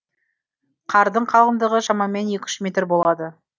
қардың қалыңдығы шамамен екі үш метр болады